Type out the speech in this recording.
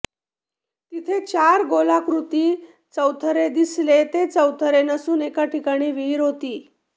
तिथे चार गोलाकृती चौथरे दिसले ते चौथरे नसून एका ठिकाणी विहीर होती